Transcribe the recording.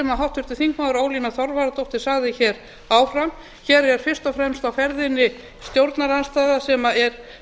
háttvirtur þingmaður ólína þorvarðardóttir sagði áðan hér er fyrst og fremst á ferðinni stjórnarandstaða sem er